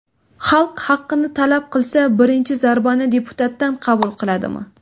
Xalq haqini talab qilsa, birinchi zarbani deputatdan qabul qiladimi?